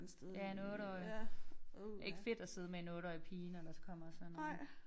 Ja en 8-årig. Ikke fedt at sidde med en 8-årig pige når der kommer sådan noget